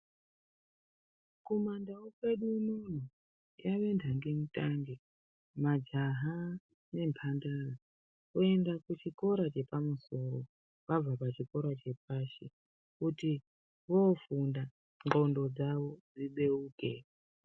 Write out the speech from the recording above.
Kumandau kwedu unono yave nhange mutange majaha nemhandara, oenda kuchikora chepamusoro vabva pachikora chepashi kuti vofunda ndxondo dzavo dzibeuke.